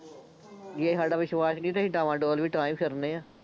ਜੇ ਸਾਡਾ ਵਿਸ਼ਵਾਸ਼ ਨਹੀਂ ਤਾਂ ਅਸੀਂ ਡਾਵਾਂਡੋਲ ਵੀ ਤਾਂ ਹੀ ਫਿਰਦੇ ਹਾਂ